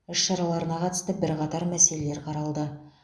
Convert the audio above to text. іс шараларына қатысты бірқатар мәселелер қаралды